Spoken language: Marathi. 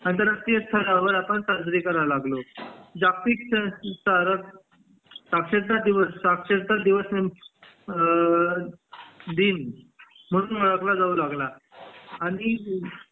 आंतरराष्ट्रीय स्तरावर साजरी करायला लागलो जागतिक स्तर साक्षरता दिवस साक्षरता अ दिन म्हणून ओळखला जाऊ लागला आणि अ